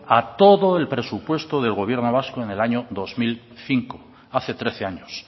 a todo el presupuesto del gobierno vasco en el año dos mil cinco hace trece años